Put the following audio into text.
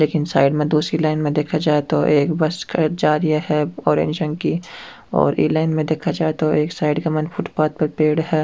ये साइड में दूसरी लाइन में देखा जाये तो एक बस जा रहिया है ऑरेंज रंग की और ये लाइन में देखा जाये तो एक साइड के मने फुटपाथ पे पेड़ है।